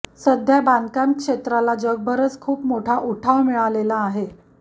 सध्या बांधकाम क्षेत्राला जगभरच खूप मोठा उठाव मिळालेला आहे